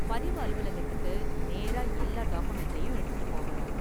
பதிவு அலுவலகத்துக்கு நேரா எல்லா டாக்குமென்ட்டையும் எடுத்துட்டு போகணும்.